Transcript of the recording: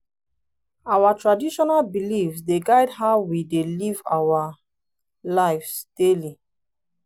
our traditional beliefs dey guide how we dey live our lives daily.